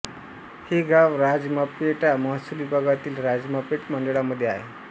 हे गाव राजमपेटा महसूल विभागातील राजमपेट मंडळामध्ये आहे